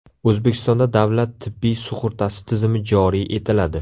O‘zbekistonda davlat tibbiy sug‘urtasi tizimi joriy etiladi.